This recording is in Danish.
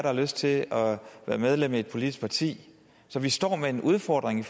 har lyst til at være medlem af et politisk parti så vi står med en udfordring i